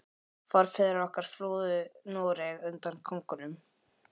Forfeður okkar flúðu Noreg undan konungum.